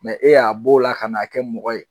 e y'a b' o la ka n'a kɛ mɔgɔ ye